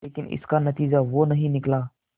लेकिन इसका नतीजा वो नहीं निकला